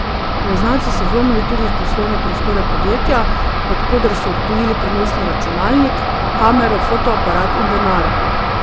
Neznanci so vlomili tudi v poslovne prostore podjetja, od koder so odtujili prenosni računalnik, kamero, fotoaparat in denar.